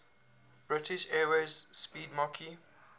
british airways 'speedmarque